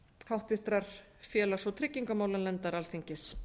háttvirtrar félags og tryggingamálanefndar alþingis